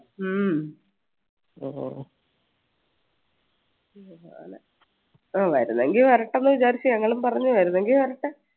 ഹും ആഹ് വരുന്നെങ്കി വരട്ടെന്നു വിചാരിച്ച് ഞങ്ങളും പറഞ്ഞു വരുന്നെങ്കി വരട്ടെ